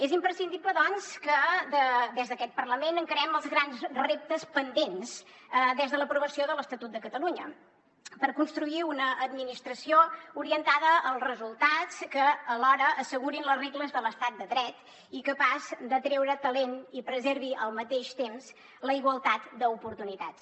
és imprescindible doncs que des d’aquest parlament encarem els grans reptes pendents des de l’aprovació de l’estatut de catalunya per construir una administració orientada als resultats que alhora assegurin les regles de l’estat de dret i capaç d’atreure talent i que preservi al mateix temps la igualtat d’oportunitats